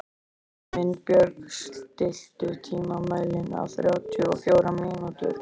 Himinbjörg, stilltu tímamælinn á þrjátíu og fjórar mínútur.